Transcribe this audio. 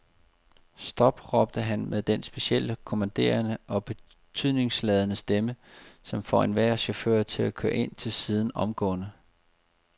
Stop, råbte han med denne specielt kommanderende og betydningsladede stemme, som får enhver chauffør til at køre ind til siden omgående.